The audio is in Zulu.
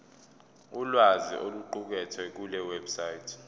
ulwazi oluqukethwe kulewebsite